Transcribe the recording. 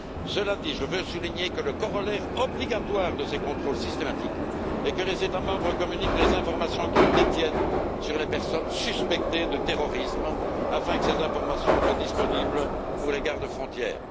Cela dit, je veux souligner que le corollaire obligatoire de ces contrôles systématiques est que les États membres communiquent les informations qu'ils détiennent sur les personnes suspectées de terrorisme afin que ces informations soient disponibles pour les gardes frontières.